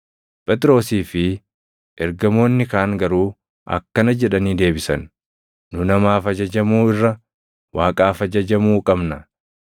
Phexrosii fi ergamoonni kaan garuu akkana jedhanii deebisan; “Nu namaaf ajajamuu irra Waaqaaf ajajamuu qabna!